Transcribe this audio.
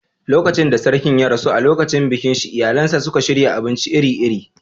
Lokacin da Sarkin ya rasu, a lokacin bikin shi iyalinsa suka shirya abinci iri-iri.